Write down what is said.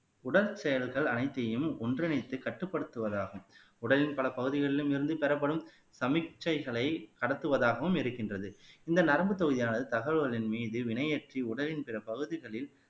உடற் செயல்கள் அனைத்தையும் ஒன்றிணைத்து கட்டுப்படுத்துவது ஆகும் உடலின் பல பகுதிகளிலும் இருந்து பெறப்படும் சமிக்கைகளை கடத்துவதாகவும் இருக்கின்றது இந்த நரம்பு தொகுதியானது தகவல்களின் மீது வினை ஏற்றி உடலின் பிற பகுதிகளில்